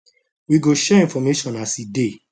we go share information as e dey